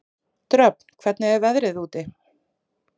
Dröfn, hvernig er veðrið úti?